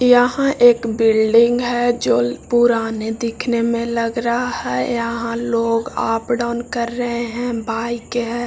यहाँ एक बिल्डिंग है जो पुराने दिखने में लग रहा है यहाँ लोग अप डाउन कर रहे है बाइक है ।